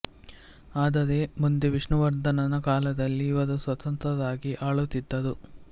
ಆದರೆ ಮುಂದೆ ವಿಷ್ಣು ವರ್ಧನನ ಕಾಲದಲ್ಲಿ ಇವರು ಸ್ವತಂತ್ರರಾಗಿ ಆಳುತ್ತಿದ್ದರು